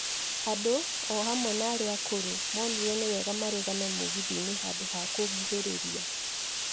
Andũ, o hamwe na arĩa akũrũ, moonire nĩ wega marũgame mũgithi-inĩ handũ ha kũnguhĩrĩria.